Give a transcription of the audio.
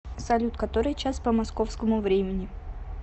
салют который час по московскому времени